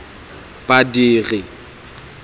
badiri